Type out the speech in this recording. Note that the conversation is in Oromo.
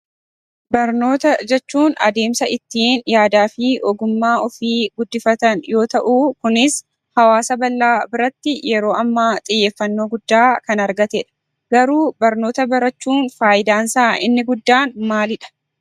Barnoota jechuun adeemsa ittiin yaadaafi ogummaa ofii guddifatan yoo ta'uu kunis hawaasa bal'aa biratti yeroo ammaa xiyyeeffannoo guddaa kan argatedha. Garuu barnoota barachuun fayidaansaa inni guddaan maalidha?